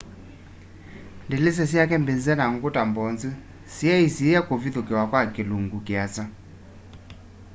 ndilisa syake mbize na nguta mbonzu siyaisyisiiya kũvithukĩwa kwa kĩlũngũ kĩasa